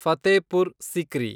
Fatehpur Sikri